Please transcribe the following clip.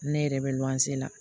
Ne yɛrɛ bɛ luwanse la